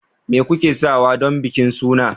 me kuke sawa don bikin suna